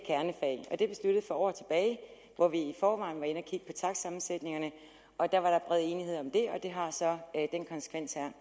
er for år tilbage hvor vi i forvejen var inde at kigge på takstsætningerne og der var der bred enighed om det det har så den konsekvens her